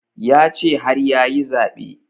Ya ce har yayi zaɓe